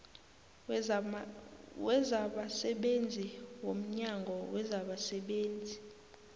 wezabasebenzi womnyango wezabasebenzi